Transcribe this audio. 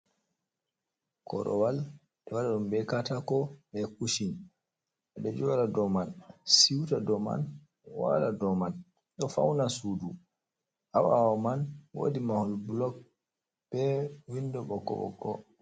Korowal be do wada dum be katako be kushin. Bedo joda do man, siuta do man, wala do man do fauna sudu ha bawo man wodi mahol blog be windo boko boko.